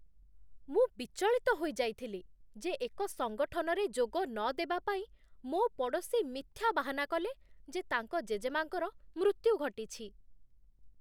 ମୁଁ ବିଚଳିତ ହୋଇ ଯାଇଥିଲି ଯେ ଏକ ସଙ୍ଗଠନରେ ଯୋଗ ନଦେବା ପାଇଁ ମୋ ପଡ଼ୋଶୀ ମିଥ୍ୟା ବାହାନା କଲେ ଯେ ତାଙ୍କ ଜେଜେମା'ଙ୍କର ମୃତ୍ୟୁ ଘଟିଛି।